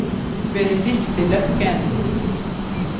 Benedicte Løkken